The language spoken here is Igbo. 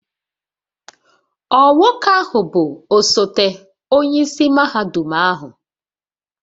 Ọ Nwoke ahu bu osote onye isi mahadum ahu?